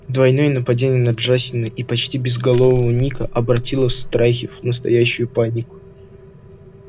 двойное нападение на джастина и почти безголового ника обратило страхи в настоящую панику